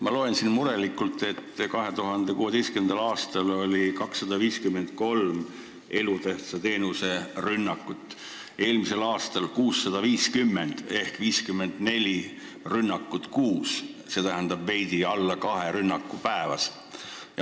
Ma loen siin murelikult, et 2016. aastal oli 253 elutähtsa teenuse rünnakut, eelmisel aastal 650 ehk 54 rünnakut kuus, st veidi alla kahe rünnaku päevas.